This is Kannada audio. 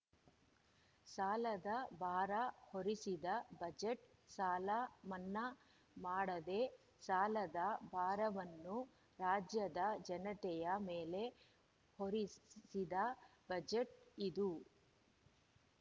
ಸಾಲದ ಭಾರ ಹೊರಿಸಿದ ಬಜೆಟ್‌ ಸಾಲ ಮನ್ನಾ ಮಾಡದೇ ಸಾಲದ ಭಾರವನ್ನು ರಾಜ್ಯದ ಜನತೆಯ ಮೇಲೆ ಹೊರಿಸಿದ ಬಜೆಟ್‌ ಇದು